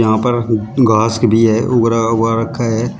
यहां पर घासक भी है उग रहा उगा रखा है।